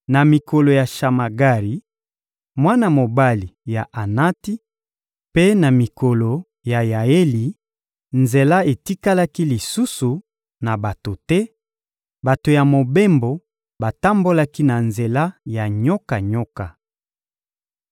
Na mikolo ya Shamagari, mwana mobali ya Anati; mpe na mikolo ya Yaeli, nzela etikalaki lisusu na bato te, bato ya mobembo batambolaki na nzela ya nyoka-nyoka.